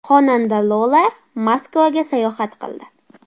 Xonanda Lola Moskvaga sayohat qildi .